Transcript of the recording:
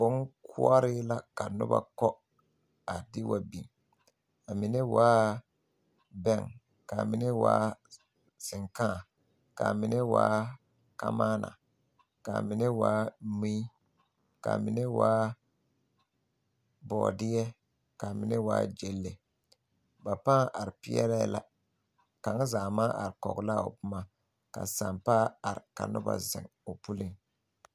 Bonkoɔre la ka nobɔ kɔ a de wa beŋ a mine waa bɛŋ kaa mine waa seŋkaa kaa mine waa kamaana kaa mine waa mui kaa mine waa bɔɔdeɛ ka a mine waa gyeŋle ba paaŋ are peɛlɛɛ la kaŋa zaa maŋ are kɔge laa o boma ka sampa are ka nobɔ zeŋ o puliŋ.